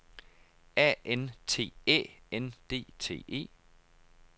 A N T Æ N D T E